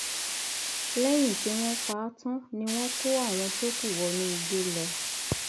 lẹyìn tí wọn pa á tán ni wọn kó àwọn tó kù wọnú igbó lọ